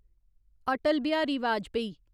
Atal Bihari Vajpayee